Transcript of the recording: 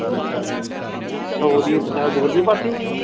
ਸੋ ਦੀਆਂ ਪੰਜਾਹ ਦੋ ਦੀ ਪਾਥੀ?